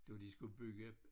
Det var de skulle bygge